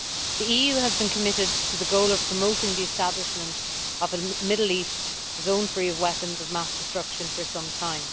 The EU has been committed to the goal of promoting the establishment of a Middle East zone free of weapons of mass destruction for some time.